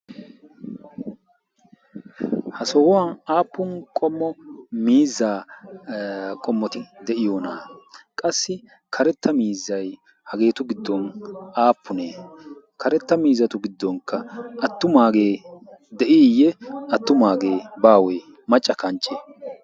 ha sohuwan aappun qommo miizaa qommoti de'iyoona? qassi karetta miizzay hageetu giddon aappunee karetta miizatu giddonkka attumaagee de' iiyye attumaagee baawee macca kanchche?